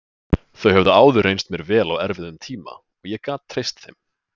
Þau höfðu áður reynst mér vel á erfiðum tíma og ég gat treyst þeim.